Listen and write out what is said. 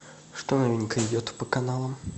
что новенькое идет по каналам